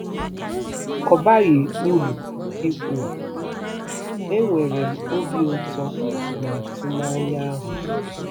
Ọ baghị uru ikwu, enwere m obi ụtọ na atụmanya ahụ.